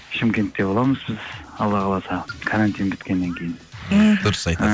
шымкентте боламыз біз алла қаласа карантин біткеннен кейін мхм дұрыс